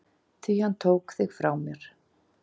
Því hann tók þig frá mér.